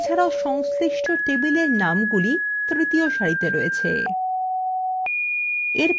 এছাড়াও সংশ্লিষ্ট table নামগুলি তৃতীয় সারিতে রয়েছে